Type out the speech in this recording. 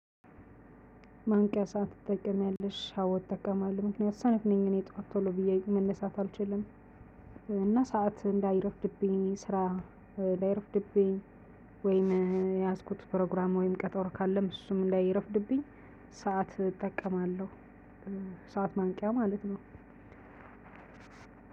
ማንቂያ ሰዓት ትጠቀሚያለሽ አወ እጠቀማለሁ ምክንያቱም ሰነፍ ነኝ እኔ ጠዋት ቶሎ ብዬ መነሳት አልችልም እና ሰዓት እንዳይረፍድብኝ ስራ ላይረፍድብኝ ወይም የያዝኩት ፕሮግራም ወይም ቀጠሮ ካለም እሱም እንዳይረፍድብኝ ሰዓት እጠቀማለሁ። ሰዓት ማንቂያ ማለት ነው።